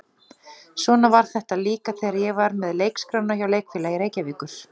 Svona var þetta líka þegar ég var með leikskrána hjá Leikfélagi Reykjavíkur.